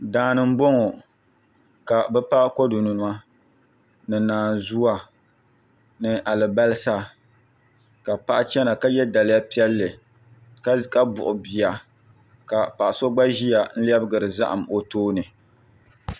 Daani n boŋo ka bi pa kodu nima ni naazuwa ni alibarisa ka paɣa chɛna ka yɛ daliya piɛlli ka buɣu bia ka paɣa so gba ʒiya n lɛbigiri zaham o tooni